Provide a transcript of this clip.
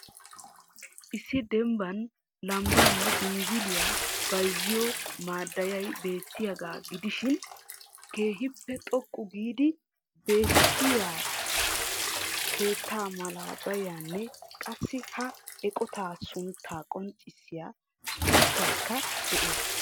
Issi dembaan lambbaanne biniziliya bayzziyo madeyaay beettiyaagaa gidishiin keehiippe xoqqu giid bettiya keetta malabaynne qassi ha eqotaa suntta qonccissiya sunttaykka dees.